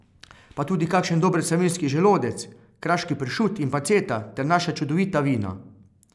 Pa tudi kakšen dober savinjski želodec, kraški pršut in panceta ter naša čudovita vina!